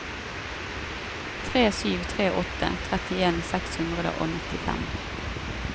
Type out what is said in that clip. tre sju tre åtte trettien seks hundre og nittifem